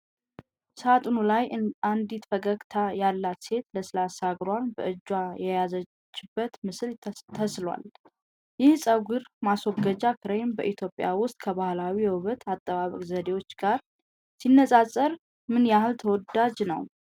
ሳጥኑ ላይ አንዲት ፈገግታ ያላት ሴት ለስላሳ እግሯን በእጇ የያዘችበት ምስል ተስሏል። ይህ የፀጉር ማስወገጃ ክሬም በኢትዮጵያ ውስጥ ከባህላዊ የውበት አጠባበቅ ዘዴዎች ጋር ሲነጻጸር ምን ያህል ተወዳጅ ነው?